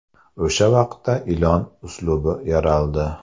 O‘sha vaqtda ilon uslubi yaraldi.